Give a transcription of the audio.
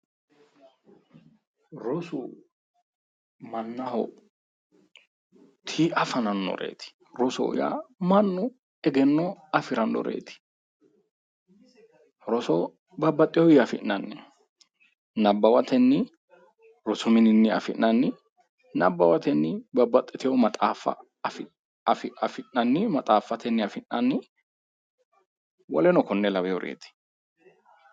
Rosu mannaho Tii'a fanannoreti ,rosoho yaa mannu egenno afiranoreti, roso babbaxewinni afi'nanni ,nabbawatenni ,rosu mininni, nabbawatenni babbaxitewo maxaaffa afi'nanni maxaaffa afi'nanni woleno kone lawinoreti